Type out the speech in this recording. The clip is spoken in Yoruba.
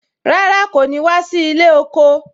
Rárá, kò ní wá sí ilé oko